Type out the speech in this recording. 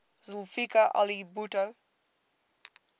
zulfikar ali bhutto